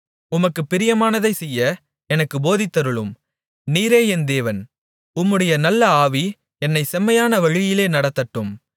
உமக்குப் பிரியமானதைச் செய்ய எனக்குப் போதித்தருளும் நீரே என் தேவன் உம்முடைய நல்ல ஆவி என்னைச் செம்மையான வழியிலே நடத்தட்டும்